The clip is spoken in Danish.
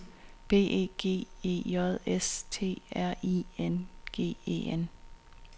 B E G E J S T R I N G E N